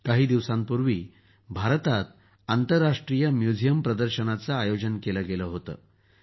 काही दिवसांपूर्वी भारतात आंतरराष्ट्रीय म्युझियम प्रदर्शनाचं आयोजन केलं गेलं होतं